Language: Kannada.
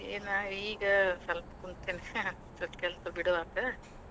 ಏನ್ ಈಗ ಸ್ವಲ್ಪ ಕುಂತೇನ್ಯಾ ಸ್ವಲ್ಪ ಕೆಲ್ಸ್ ಬಿಡುವಾತು.